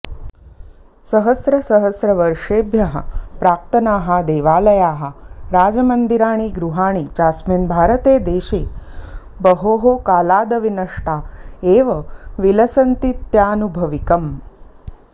सहस्रसहस्रवर्षेभ्यः प्राक्तनाः देवालयाः राजमन्दिराणि गृहाणि चास्मिन् भारते देशे बहोः कालादविनष्टा एव विलसन्तीत्यानुभविकम्